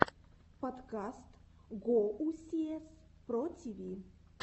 подкаст гоусиэс про тиви